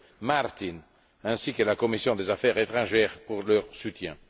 Martin, ainsi que la commission des affaires étrangères pour leur soutien.